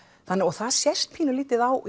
það sést pínulítið á